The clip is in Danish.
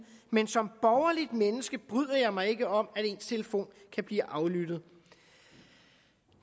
men som borgerligt menneske bryder jeg mig ikke om at ens telefon kan blive aflyttet